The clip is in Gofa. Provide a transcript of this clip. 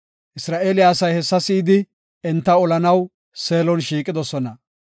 Isra7eele asay hessa si7idi, enta olanaw Seelon shiiqidosona.